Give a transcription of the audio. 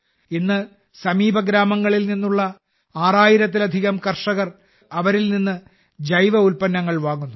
ഇന്ന് സമീപഗ്രാമങ്ങളിൽ നിന്നുള്ള ആറായിരത്തിലധികം കർഷകർ അവരിൽ നിന്ന് ജൈവഉൽപ്പന്നങ്ങൾ വാങ്ങുന്നു